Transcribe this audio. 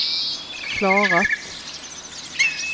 klarat